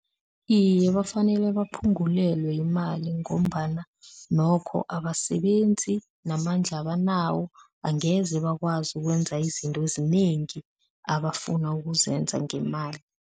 Iye, bafanele baphungulelwe imali ngombana nokho abasebenzi namandla abanawo angeze bakwazi ukwenza izinto ezinengi abafuna ukuzenza ngemali.